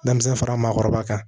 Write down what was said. Denmisɛn fara maakɔrɔba kan